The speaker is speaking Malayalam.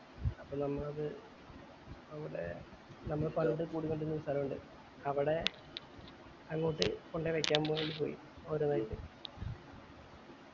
അപ്പൊ നമ്മൾ അത് അവിടെ നമ്മൾ പണ്ട് കൂടികൊണ്ടിരുന്നൊരു സ്ഥലണ്ട് അവടെ അങ്ങോട്ട് വെക്കാൻ പോയി അവൻ്റെതായി